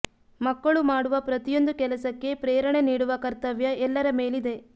ಮಕ್ಕಳು ಮಾಡುವ ಪ್ರತಿಯೊಂದು ಕೆಲಸಕ್ಕೆ ಪ್ರೇರಣೆ ನೀಡುವ ಕರ್ತವ್ಯ ಎಲ್ಲರ ಮೇಲಿದೆ